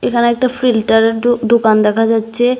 এখানে একটা ফিল্টারের দু দুকান দেখা যাচ্ছে।